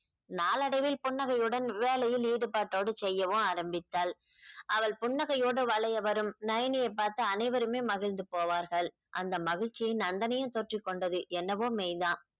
நாளடைவில் புன்னகையுடன் வேலையில் ஈடுபாட்டோடு செய்யவும் ஆரம்பித்தாள் அவள் புன்னகையோடு வளைய வரும் நயனியை பார்த்து அனைவருமே மகிழ்ந்து போவார்கள் அந்த மகிழ்ச்சியை நந்தனையும் தொற்றிக் கொண்டது என்னவோ மெய்தான்